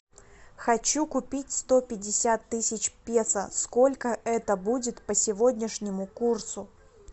хочу купить сто пятьдесят тысяч песо сколько это будет по сегодняшнему курсу